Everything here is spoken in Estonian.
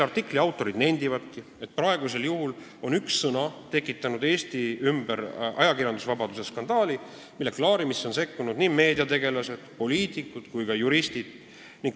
Artikli autorid nendivadki, et praegusel juhul on üks sõna tekitanud Eestis ajakirjandusvabaduse skandaali, mille klaarimisse on sekkunud nii meediategelased, poliitikud kui ka juristid.